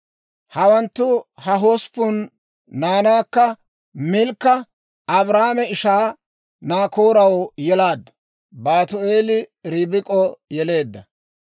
Hawantta ha hosppun naanaakka Milkka Abrahaame ishaa Naakooraw yelaaddu; Baatu'eeli Ribik'o yeleedda.